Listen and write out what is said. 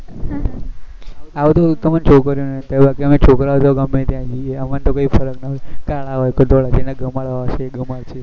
આવું તો તમને છોકરીઓ ને જ થાય બાકી અમે છોકરાઓ તો ગમે ત્યાં જૈયે અમને તો કઈ ફર્ક ના પડે કળા હોય કે ધોળા જેને ગમાડવા હોય એ ગમાંડસે